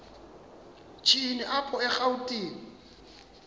shini apho erawutini